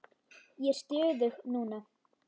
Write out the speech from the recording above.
Ég er stöðug núna.